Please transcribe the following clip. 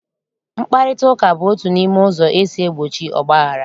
Mkparịtaụka bụ otu n'ime ụzọ esi egbochi ọgbaghara